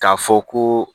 K'a fɔ ko